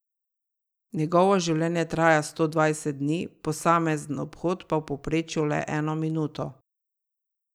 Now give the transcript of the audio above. Njegovo življenje traja sto dvajset dni, posamezen obhod pa v povprečju le eno minuto.